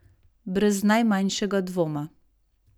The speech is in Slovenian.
Brez najmanjšega dvoma.